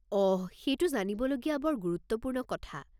অহ! সেইটো জানিবলগীয়া বৰ গুৰুত্বপূৰ্ণ কথা।